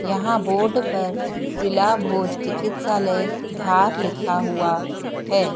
यहां बोर्ड पर जिला भोज चिकित्सालय धार लिखा हुआ है।